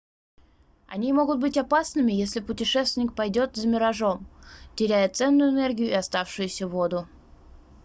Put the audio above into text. они могут быть опасными если путешественник пойдёт за миражом теряя ценную энергию и оставшуюся воду